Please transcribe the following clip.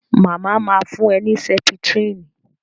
Màmá ma fún ẹ ní Sẹ́pítírínì